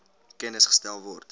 kennis gestel word